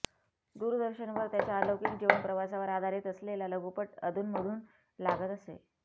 दूरदर्शनवर त्याच्या अलौकिक जीवनप्रवासावर आधारित असलेला लघुपट अधूनमधून लागत असे